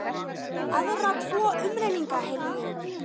Aðra tvo umrenninga heyrði ég um.